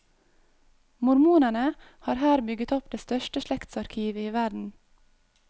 Mormonerne har her bygget opp det største slektsarkivet i verden.